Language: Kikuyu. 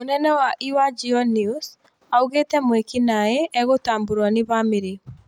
Mũnene wa iwa Geo News ,augĩte mwĩki naĩ egũtaburwa nĩ bamiri